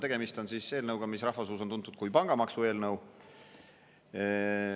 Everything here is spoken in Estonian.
Tegemist on eelnõuga, mis rahva seas on tuntud kui pangamaksu eelnõu.